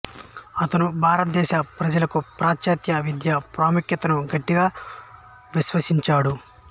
అతను భారతదేశ ప్రజలకు పాశ్చాత్య విద్య ప్రాముఖ్యతను గట్టిగా విశ్వసించాడు